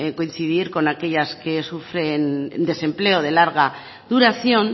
coincidir con aquellas que sufren desempleo de larga duración